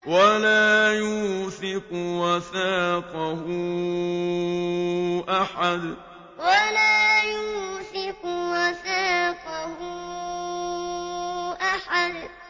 وَلَا يُوثِقُ وَثَاقَهُ أَحَدٌ وَلَا يُوثِقُ وَثَاقَهُ أَحَدٌ